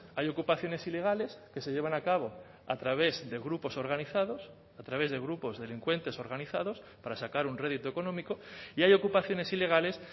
hay ocupaciones ilegales que se llevan a cabo a través de grupos organizados a través de grupos delincuentes organizados para sacar un rédito económico y hay ocupaciones ilegales